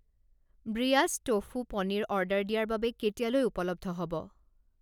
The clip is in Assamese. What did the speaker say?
ব্ৰিয়াছ টোফু পনীৰ অৰ্ডাৰ দিয়াৰ বাবে কেতিয়ালৈ উপলব্ধ হ'ব?